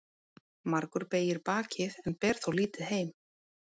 Margur beygir bakið en ber þó lítið heim.